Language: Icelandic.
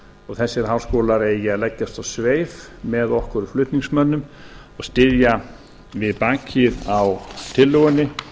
og þessir háskólar eigi að leggjast á sveif með okkur flutningsmönnum og styðja við bakið á tillögunni